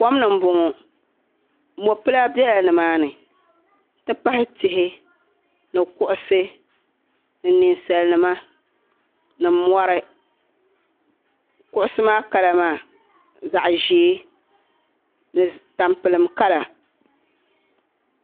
Kom ni n bɔŋɔ. mɔpila bela ni maani n ti pahi tihi ni kuɣisi. ni ninsalinima. ni mɔri. kuɣisi maa kala maa zaɣi ʒɛɛ bɛ ni tam pilim kala